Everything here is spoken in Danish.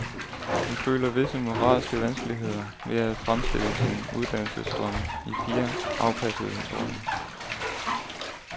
Hun føler visse moralske vanskeligheder ved at fremstille sine uddannelsesdrømme i fire afpassede historier.